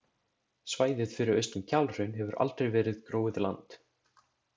Svæðið fyrir austan Kjalhraun hefur aldrei verið gróið land.